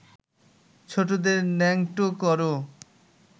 ছোটদের ন্যাংটো কর